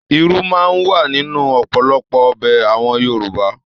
Irú máa n wà nínú ọpọlọpọ ọbẹ àwọn Yorùbá.